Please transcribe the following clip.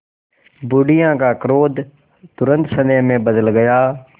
बुढ़िया का क्रोध तुरंत स्नेह में बदल गया